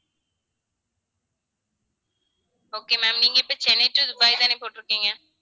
okay ma'am நீங்க இப்ப Chennai to Dubai தானே போட்டிருக்கீங்க